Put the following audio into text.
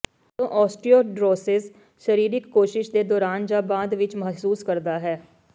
ਜਦੋਂ ਓਸਟੀਓਚੌਂਡ੍ਰੋਸਿਸ ਸਰੀਰਕ ਕੋਸ਼ਿਸ਼ ਦੇ ਦੌਰਾਨ ਜਾਂ ਬਾਅਦ ਵਿੱਚ ਮਹਿਸੂਸ ਕਰਦਾ ਹੈ